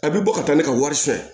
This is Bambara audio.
A bɛ bɔ ka taa ne ka wari san